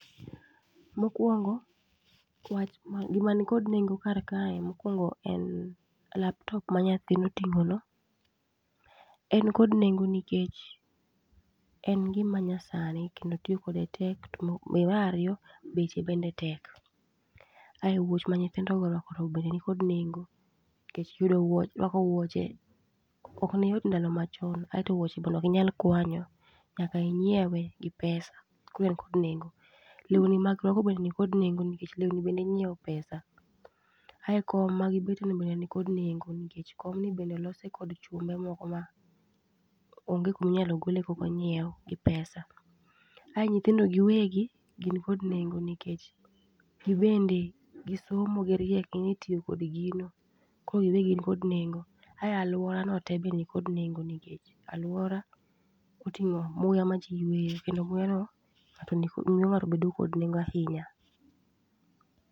Mokwongo, wach man kod nengo kar kae mokwongo en laptop manyathino oting'o no. En kod nengo nekech en gima nyasani kendo tiyo kode tek to be marariyo beche bende tek. Ae wuoch ma nyithindo go orwako go be nikod nengo, kech yudo wuoch ruako wuoche ok ne yot ndalo machon. Aeto wuoche bende okinyal kwanyo, nyaka inyiewe gi pesa, koro en kod nengo. Lewni ma girwako bende nikod nengo nikech lewni bendi nyiewo pesa. Ae kom ma gibete ni be nikod nengo nikech komni bende olose kod chumbe ma onge kuminyalo gole kokonyiew gi pesa. Ae nyithindo gi wegi gin kod nengo nikech gibende gisomo giriek ging'e tiyo kod gino, koro gibe gin kod nengo. Ae alwora no te be nikod nengo nikech alwora oting'o muya ma ji yweyo kendo muya no miyo ng'ato bedo kod nengo ahinya.